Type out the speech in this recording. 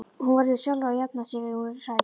Hún verður sjálf að jafna sig ef hún er hrædd.